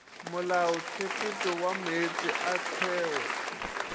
molaotshepetšo wa meetse a theo